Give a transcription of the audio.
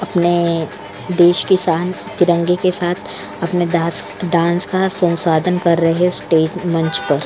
अपने देश के शान तिंरगे के साथ अपने डास डांस के साथ संसाधन कर रहे स्टेज मंच पर --